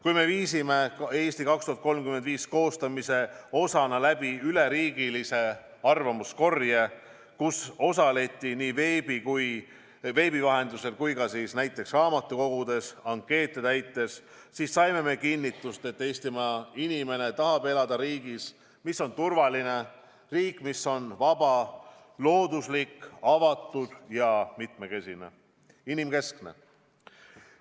Kui me viisime "Eesti 2035" koostamise osana läbi üleriigilise arvamuskorje, kus osaleti nii veebi vahendusel kui ka näiteks raamatukogudes ankeete täites, siis saime kinnitust, et Eestimaa inimene tahab elada riigis, mis on turvaline, riik, mis on vaba, looduslik, avatud ja mitmekesine, inimkeskne.